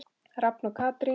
Rafn og Katrín.